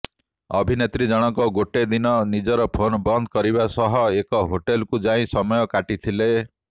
ଅଭିନେତ୍ରୀଜଣକ ଗୋଟେ ଦିନ ନିଜର ଫୋନ ବନ୍ଦ କରିବା ସହ ଏକ ହୋଟେଲକୁ ଯାଇ ସମୟ କାଟିଥିଲେ